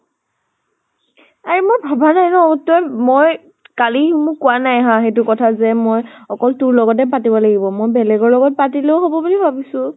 আৰে মই ভাবা নাই ন তই মই কালি মোক কোৱা নাই হা সেইটো কথা যে মই অকল তোৰ লগতে পাতিব লাগিব। মই বেলেগৰ লগত পাতিলেও হব বুলি ভাবিছো।